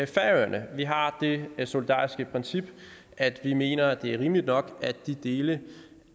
færøerne vi har det solidariske princip at vi mener at det er rimeligt nok at de dele